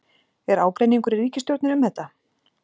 Er ágreiningur í ríkisstjórninni um þetta?